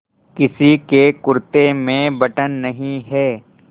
किसी के कुरते में बटन नहीं है